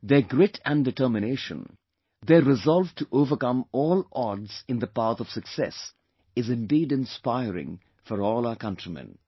Their grit & determination; their resolve to overcome all odds in the path of success is indeed inspiring for all our countrymen